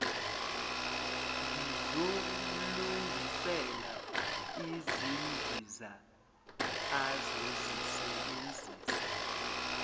ngizomlungisela izimbiza azozisebenzisa